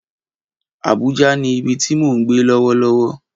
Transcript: Abuja ni ibi ti mo n gbe lọwọlọwọ.